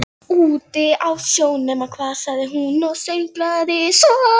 Úti á sjó, nema hvað sagði hún og sönglaði svo